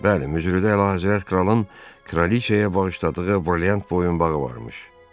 Bəli, möcrüdə həzrəti kralın kraliçaya bağışladığı brilyant boyunbağı varmış.